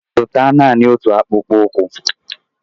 Zụta Naanị otu ụzọ akpụkpọ ụkwụ!